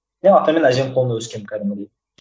иә ата мен әженің қолында өскенмін кәдімгідей